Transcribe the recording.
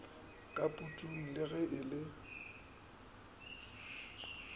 ka putung le ge e